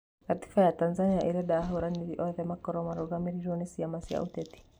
Gatiba ya Tanzania ĩrenda ahũranĩri othe makorwo marũgamĩrĩirwo nĩ ciama cia ũteti